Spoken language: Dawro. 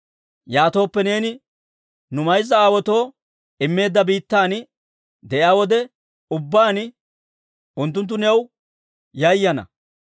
Yaatooppe, neeni nu mayza aawaatoo immeedda biittan de'iyaa wode ubbaan, unttunttu new yayana.